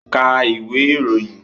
Ka ìwé ìròyìn!